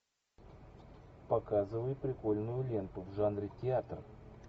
показывай прикольную ленту в жанре театр